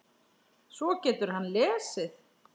Svo getur hann lesið.